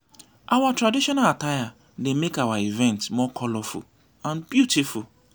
our traditional attire dey make our events more colorful and beautiful.